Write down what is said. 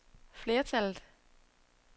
flertallet